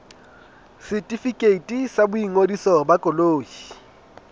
setefikeiti sa boingodiso ba koloi